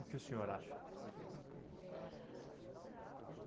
O que o senhor acha?